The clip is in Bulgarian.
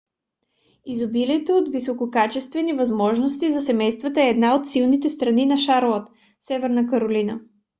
изобилието от висококачествени възможности за семействата е една от силните страни на шарлот северна каролина